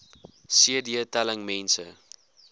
cd telling mense